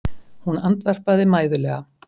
Hún andvarpaði mæðulega.